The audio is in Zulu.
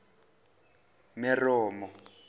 meromo